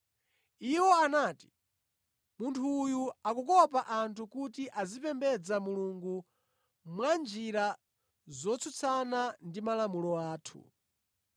Iwo anati, “Munthu uyu akukopa anthu kuti azipembedza Mulungu mwanjira zotsutsana ndi malamulo athu.”